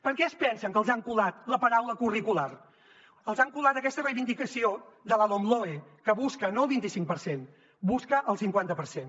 per què es pensen que els han colat la paraula curricular els han colat aquesta reivindicació de la lomloe que busca no el vint i cinc per cent busca el cinquanta per cent